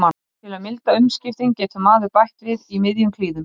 Til að milda umskiptin getur maður bætt við í miðjum klíðum.